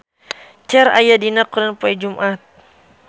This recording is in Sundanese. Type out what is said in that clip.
Cher aya dina koran poe Jumaah